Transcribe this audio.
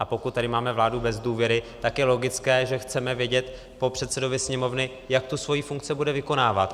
A pokud tady máme vládu bez důvěry, tak je logické, že chceme vědět po předsedovi Sněmovny, jak tu svoji funkci bude vykonávat.